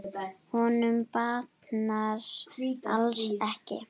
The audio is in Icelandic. Honum batnar alls ekki.